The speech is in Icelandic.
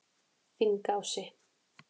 Þingási